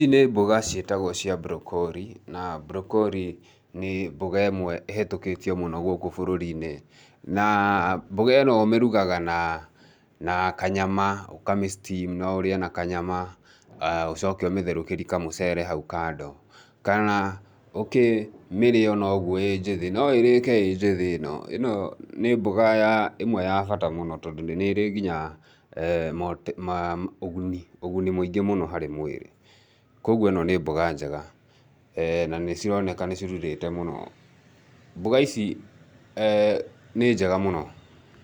Ici nĩ mboga ciĩtagwo cia broccoli, na broccoli nĩ mboga ĩmwe ĩhĩtũkĩtio mũno gũkũ bũrũri-inĩ. Naa mboga ĩno ũmĩrugaga naa naa kanyama, ũkamĩ steam. No ũrĩe na kanyama, ũcoke ũmĩtherũkĩrie kamũcere hau kando, kana ũkĩmĩrĩe onoguo ĩ njĩthĩ, no ĩrĩke ĩ njĩthĩ ĩno. Ĩno nĩ mboga ya ĩmwe ya bata mũno tondũ nĩrĩ nginya maa ũguni, ũguni mũingĩ mũno harĩ mwĩrĩ. Koguo ĩno nĩ mboga njega. Na nĩcironeka nĩcirurĩte mũno. Mboga ici nĩ njega mũno.